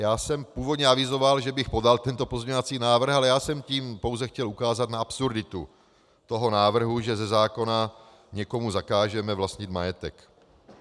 Já jsem původně avizoval, že bych podal tento pozměňovací návrh, ale já jsem tím pouze chtěl ukázat na absurditu toho návrhu, že ze zákona někomu zakážeme vlastnit majetek.